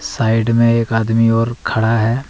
Side मे एक आदमी और खड़ा है।